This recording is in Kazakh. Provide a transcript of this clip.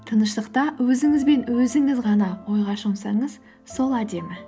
тыныштықта өзіңіз бен өзіңіз ғана ойға шомсаңыз сол әдемі